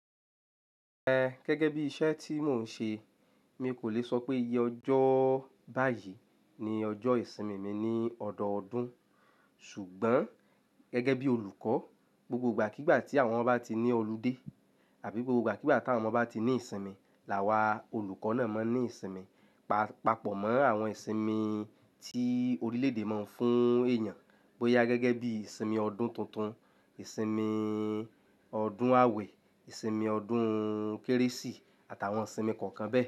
Ẹ gẹ́gẹ́ bí iṣẹ́ tí mò ń ṣe, mi kò lè sọ pé iye ọjọ́ báyìí ni ọjọ́ ìsinmi mi ní ọdọọdún. Ṣùgbọ́n gẹ́gẹ́ bí olùkọ́, gbogbo ìgbà kígbà tí àwọn ọmọ bá ti ní ọludé àbí gbogbo ìgbà kígbà tí àwọn ọmọ bá ti ní ìsinmi, làwà olùkọ́ náà máa ń ní ìsinmi. Pa-papọ̀ mọ́ àwọn ìsinmi tí orílédé máa ń fún èèyàn, bóyá gẹ́gẹ́ bí ìsinmi ọdún tuntun, ìsinmi ọdún awẹ, ìsinmi ọdún kérésì àtàwọn ìsinmi kọ̀ọ̀kan bẹ́ẹ̀.